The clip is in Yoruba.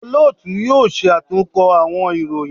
Olootu yoo ṣatunkọ awọn iroyin